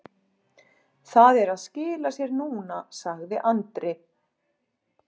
Það er að skila sér núna, sagði Andri.